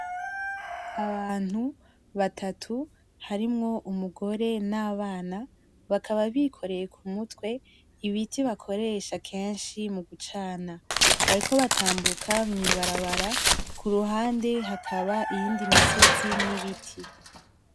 Abantu batatu harimwo umugore n'abana bakaba bikoreye ku mutwe ibiti bakoresha keshi mu gucana bariko batambuka mu ibarabara kuruhande hakaba iyindi misozi n'ibiti.